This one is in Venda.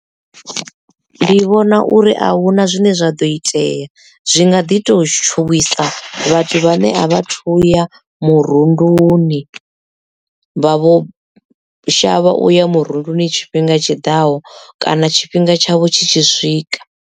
Ndi vhona uri ahuna zwine zwaḓo itea zwi nga ḓi to tshuwisa vhathu vhane a vha thuya murunduni vha vho shavha uya murunduni tshifhinga tshiḓaho kana tshifhinga tshavho tshi tshi swika.